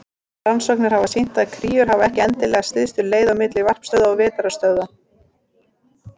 Rannsóknir hafa sýnt að kríur fara ekki endilega stystu leið á milli varpstöðva og vetrarstöðva.